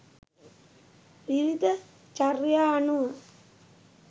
විවිධ චර්යා අනුව